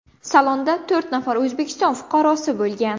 Salonda to‘rt nafar O‘zbekiston fuqarosi bo‘lgan.